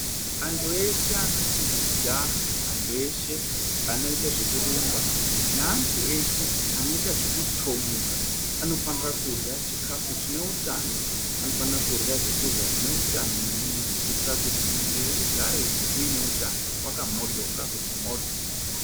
Antu eshe anoita zvekujaha antu eshe anoita zvekurumba neantu eshe anoita zvekutomuka vanofanira kurya chikafu chine hutano vanofana kurya zvekurya zvine hutano maningi kuitira kuti mumwiri mugare mune hutano wakamhoryoka kuti mhoryo.